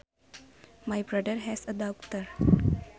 My brother has a daughter